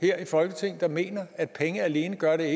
her i folketinget der mener at penge alene gør det